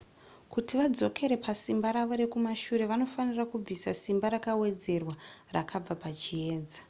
kuti vadzokere pasimba ravo rekumashure vanofanira kubvisa simba rakawedzerwa rakabva pachiedza